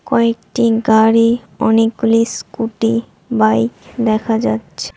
কয়েকটি গাড়ি অনেকগুলি স্কুটি বাইক দেখা যাচ্ছে।